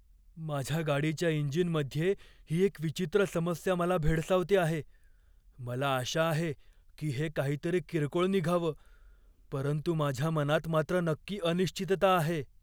माझ्या गाडीच्या इंजिनमध्ये ही एक विचित्र समस्या मला भेडसावते आहे. मला आशा आहे की हे काहीतरी किरकोळ निघावं, परंतु माझ्या मनात मात्र नक्की अनिश्चितता आहे.